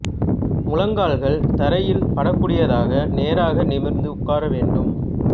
முழங்கால்கள் தரையில் படக் கூடியதாக நேராக நிமிர்ந்து உட்கார வேண்டும்